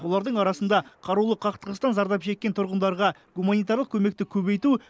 олардың арасында қарулы қақтығыстан зардап шеккен тұрғындарға гуманитарлық көмекті көбейту